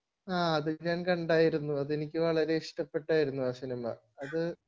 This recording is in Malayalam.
ആഹ്ഹ് അത് ഞാൻ കണ്ടാർന്നു ആ സിനിമ അതെനിക്ക്യു വളരെ ഇഷ്ടപ്പെട്ടാർന്നു ആ സിനിമ